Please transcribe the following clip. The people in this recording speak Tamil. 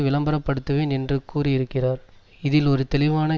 விளம்பரப்படுத்தப்படுவேன் என்று கூறியிருக்கிறார் இதில் ஒரு தெளிவான